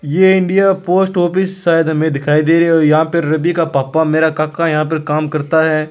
ये India post office शायद हमें दिखाई दे रियो है यहाँ पे रवि का पापा मेरा काका यहाँ पे काम करता है।